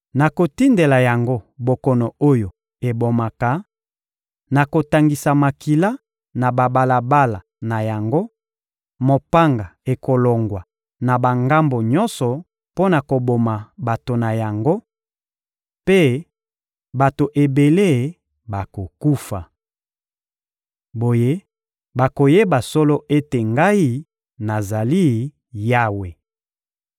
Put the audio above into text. Nakotindela yango bokono oyo ebomaka, nakotangisa makila na babalabala na yango; mopanga ekolongwa na bangambo nyonso mpo na koboma bato na yango, mpe bato ebele bakokufa. Boye, bakoyeba solo ete Ngai, nazali Yawe.